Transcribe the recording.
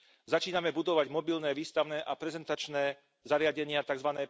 Začíname budovať mobilné výstavné a prezentačné zariadenia, tzv.